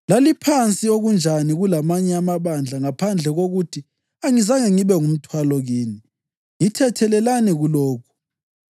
Laliphansi okunjani kulamanye amabandla, ngaphandle kokuthi angizange ngibe ngumthwalo kini. Ngithethelelani kulokhu!